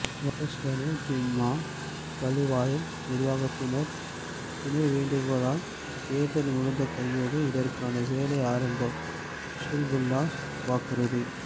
வாழைச்சேனை ஜூம்ஆ பள்ளிவாயல் நிர்வாகத்தினர் இனை வேண்டிக் கொண்டால் தேர்தல் முடிந்த கையோடு இதற்கான வேலைகள் ஆரம்பம் ஹிஸ்புல்லாஹ் வாக்குறுதி